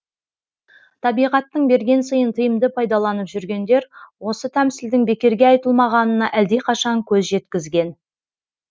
табиғаттың берген сыйын тиімді пайдаланып жүргендер осы тәмсілдің бекерге айтылмағанына әлдеқашан көз жеткізген